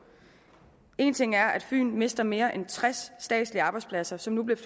èn ting er at fyn mister mere end tres statslige arbejdspladser som nu bliver